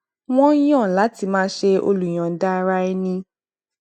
wọn yàn láti máa ṣe olùyọǹda ara ẹni